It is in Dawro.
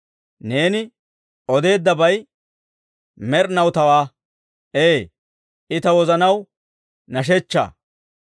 Neeni odeeddabay med'inaw tawaa; ee, I ta wozanaw nashshechchaa.